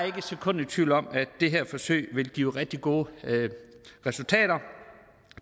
ikke et sekund i tvivl om at det her forsøg vil give rigtig gode resultater